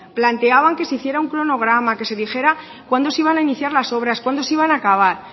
planteaban que se hiciera un cronograma que se dijera cuándo se iban a iniciar las obras cuándo se iban a acabar